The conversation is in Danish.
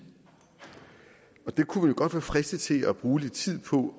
og der kunne godt være fristet til at bruge lidt tid på